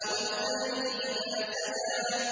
وَاللَّيْلِ إِذَا سَجَىٰ